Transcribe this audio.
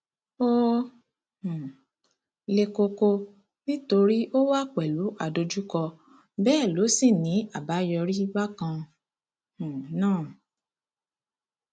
ó um le koko nítorí ó wà pẹlú adójúkọ bẹẹ ló sì ń ní àbáyọrí bákan um náà